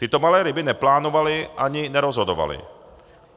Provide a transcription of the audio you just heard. Tyto malé ryby neplánovaly ani nerozhodovaly.